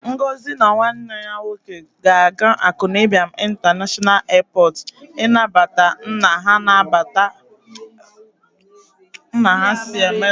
Ngozi and her brother will go to Akanu Ibiam International Airport to welcome their father who is coming from Amerịka tomorrow.